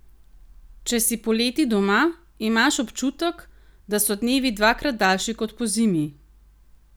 Če si poleti doma, imaš občutek, da so dnevi dvakrat daljši kot pozimi.